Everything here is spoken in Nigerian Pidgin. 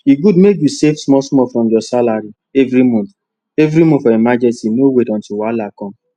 e good mek you save small small from your salary every month every month for emergency no wait until wahala come